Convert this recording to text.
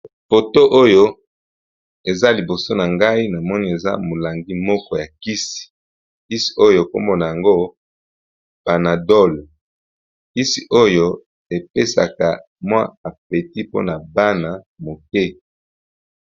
foto oyo eza liboso na ngai na moni eza molangi moko ya kisi kisi oyo ekombona yango panadol kisi oyo epesaka mwa afeti mpona bana moke